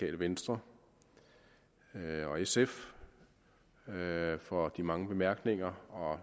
venstre og sf for de mange bemærkninger og